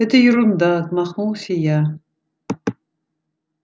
это ерунда отмахнулся я